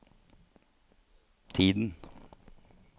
tiden